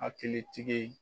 Hakili tigi